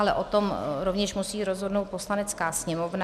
Ale o tom rovněž musí rozhodnout Poslanecká sněmovna.